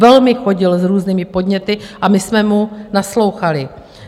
Velmi chodil s různými podněty a my jsme mu naslouchali.